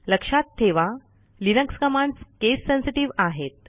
लक्षात ठेवा Linux commands case sensitive आहेत